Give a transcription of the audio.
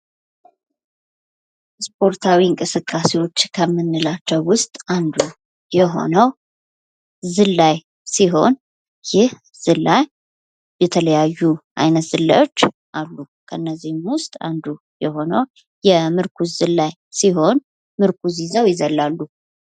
ፑሽአፕ: እጆችንና የላይኛውን የሰውነት ክፍል በመጠቀም ሰውነትን ወደ ላይና ወደ ታች ማንቀሳቀስ ሲሆን የደረትና የእጅ ጡንቻዎችን ያጠናክራል።